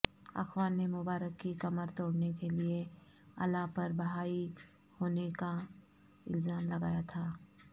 اخوان نے مبارک کی کمر توڑنے کیلئے علاءپر بہائی ہونے کا الزام لگایا تھا